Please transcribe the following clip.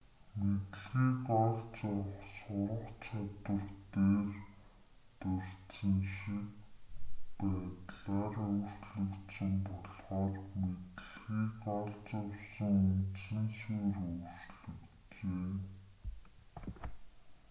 мэдлэгийг олж авах сурах чадвар дээр дурдсан шиг байдлаар өөрчлөгдсөн болохоор мэдлэгийг олж авсан үндсэн суурь өөрчлөгджээ